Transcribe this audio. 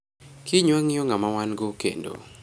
Kiny wangiyo ngama wango kendo